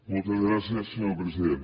moltes gràcies senyor president